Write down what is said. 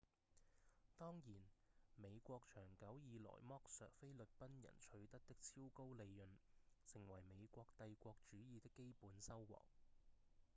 當然美國長久以來剝削菲律賓人取得的超高利潤成為美國帝國主義的基本收穫